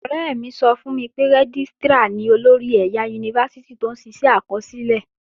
Ọ̀rẹ́ mi sọ fún mi pé Rẹ́gístrà ni olórí ẹ̀yà Yunifásítì tó ń ṣiṣẹ́ àkọsílẹ̀